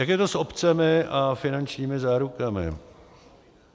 Jak je to s opcemi a finančními zárukami.